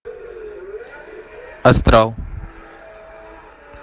астрал